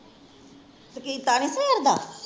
ਤੇ ਕੀਤਾ ਨੀ ਸਵੇਰ ਦਾ?